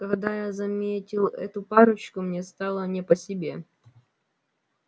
когда я заметил эту парочку мне стало не по себе